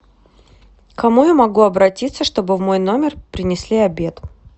к кому я могу обратиться что бы в мой номер принести обед